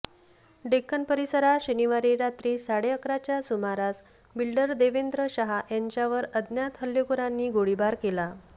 डेक्कन परिसरात शनिवारी रात्री साडे अकराच्या सुमारास बिल्डर देवेंद्र शहा यांच्यावर अज्ञात हल्लेखोरांनी गोळीबार केला